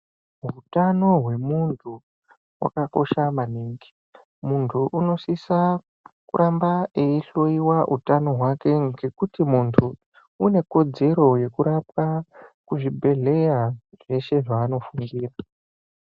Hutano hwemuntu wakakosha maningi muntu anosisa kuramba eihloiwa hutano hwake ngekuti muntu une kodzero yekurapwa kuzvibhedhlera zveshe zvanofungira.